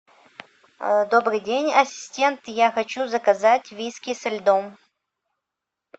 добрый день ассистент я хочу заказать виски со льдом